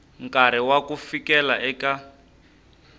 nkarhi wa ku fikela eka